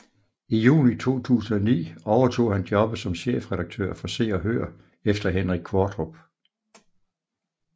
I juni 2009 overtog han jobbet som chefredaktør for Se og Hør efter Henrik Qvortrup